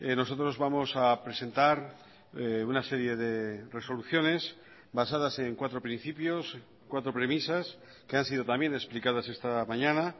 nosotros vamos a presentar una serie de resoluciones basadas en cuatro principios cuatro premisas que han sido también explicadas esta mañana